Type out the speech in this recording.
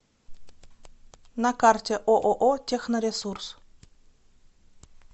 на карте ооо техноресурс